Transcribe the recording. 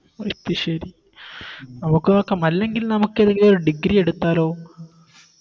അത് ശെരി നമുക്ക് നോക്കാം അല്ലെങ്കിൽ നമുക്കെതെങ്കിലോര് Degree എടുത്താലോ